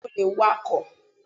Bẹ́ẹ̀ni mo lè wakọ̀.